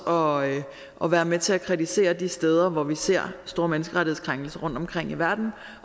og og være med til at kritisere de steder hvor vi ser store menneskerettighedskrænkelser rundtomkring i verden